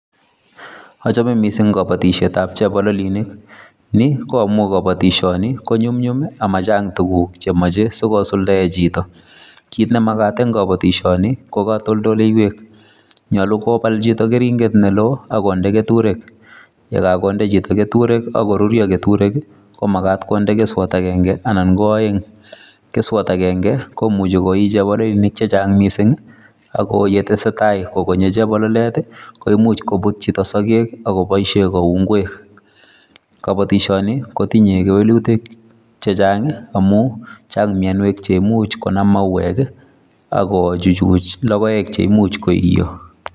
Achome mising kabatisietab chebololinik, ni ko amu kabatisioni ko nyumnyum ii ama chang tuguk che moche si kosuldee chito, kit ne makat eng kabatisioni ko katoldoleiwek, nyolu kobal chito keringet ne loo ak konde keturek, ye kakonde chito keturek ak koruryo keturek ii, komakat konde keswot akenge anan ko aeng, keswot akenge komuchi koi chebololinik che chang mising ii, ako ye tesetai kogonye chebololet ii, koimuch kobut chito sokek ak koboisie kou ngwek. Kabatisioni kotinye kewelutik che chang ii, amu chang mionwek che imuch konan mauwek ii ak kochuchuch logoek cheimuch koiyo.